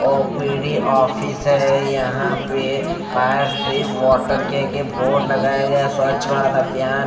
OPD office है यहां पे। बाहर से वाटर के आगे बोर्ड लगाया गया है स्वच्छ भारत अभियान।